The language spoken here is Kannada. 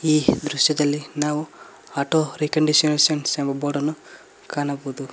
ಈ ದೃಶ್ಯದಲ್ಲಿ ನಾವು ಆಟೋ ರಿಕಂಡೀಷನರ್ ಎಂಬ ಬೋರ್ಡ್ ಅನ್ನು ಕಾಣಬಹುದು.